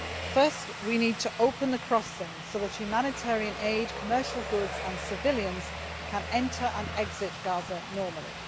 First, we need to open the crossings so that humanitarian aid, commercial goods and civilians can enter and exit Gaza normally.